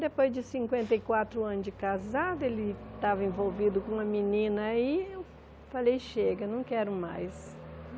Depois de cinquenta e quatro anos de casada, ele estava envolvido com uma menina aí eu falei, chega, não quero mais.